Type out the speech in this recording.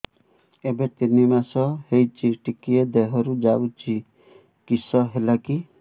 ଏବେ ତିନ୍ ମାସ ହେଇଛି ଟିକିଏ ଦିହରୁ ଯାଉଛି କିଶ ହେଲାକି